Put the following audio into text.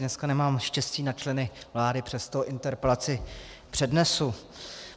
Dneska nemám štěstí na členy vlády, přesto interpelaci přednesu.